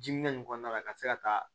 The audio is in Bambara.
Diminen kɔnɔna la ka se ka taa